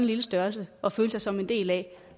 lille størrelse at føle sig som en del af